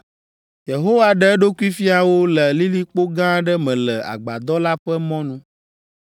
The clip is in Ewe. Yehowa ɖe eɖokui fia wo le lilikpo gã aɖe me le agbadɔ la ƒe mɔnu,